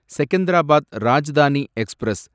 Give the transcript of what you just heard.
Secunderabad Rajdhani express